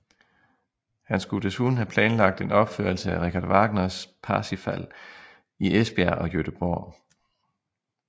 Han skulle desuden have planlagt en opførelse af Richard Wagners Parsifal i Esbjerg og Göteborg